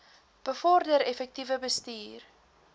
bevorder effektiewe bestuur